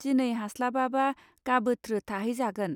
दिनै हास्लाबाबा गाबोत्रो थाहैजागोन.